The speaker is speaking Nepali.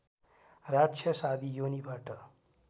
राक्षस आदि योनिबाट